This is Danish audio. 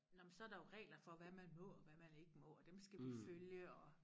Nå men så der jo regler for hvad man må og hvad man ikke må og dem skal vi følge og